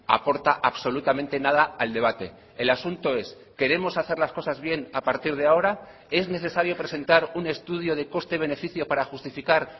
aporta absolutamente nada al debate el asunto es queremos hacer las cosas bien a partir de ahora es necesario presentar un estudio de coste beneficio para justificar